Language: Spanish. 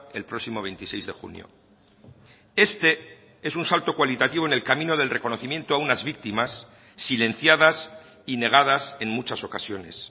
el próximo veintiséis de junio este es un salto cualitativo en el camino del reconocimiento a unas víctimas silenciadas y negadas en muchas ocasiones